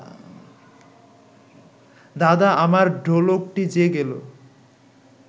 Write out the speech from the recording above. দাদা, আমার ঢোলকটি যে গেল